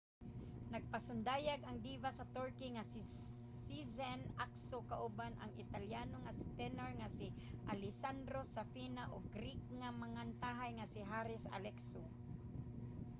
nagpasundayag ang diva sa turkey nga si sezen aksu kauban ang italiano nga tenor nga si alessandro safina ug greek nga mangantahay nga si haris alexiou